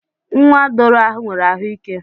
Nwa doro ahu nwere ahu ike.